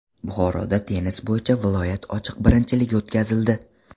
Buxoroda tennis bo‘yicha viloyat ochiq birinchiligi o‘tkazildi.